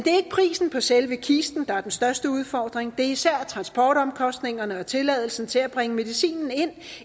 prisen på selve kisten der er den største udfordring det er især transportomkostningerne og tilladelsen til at bringe medicinen ind